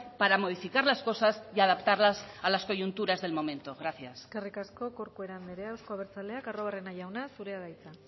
para modificar las cosas y adaptarlas a las coyunturas del momento gracias eskerrik asko corcuera andrea euzko abertzaleak arruabarrena jauna zurea da hitza